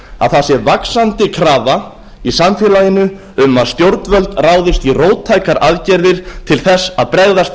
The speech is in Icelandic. að það sé vaxandi krafa í samfélaginu um að stjórnvöld ráðist í róttækar aðgerðir til þess að bregðast